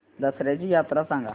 दसर्याची यात्रा सांगा